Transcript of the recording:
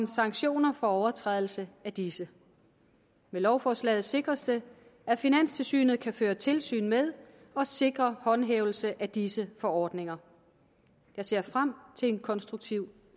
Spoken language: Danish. sanktioner for overtrædelse af disse med lovforslaget sikres det at finanstilsynet kan føre tilsyn med og sikre håndhævelse af disse forordninger jeg ser frem til en konstruktiv